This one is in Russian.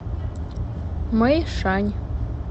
мэйшань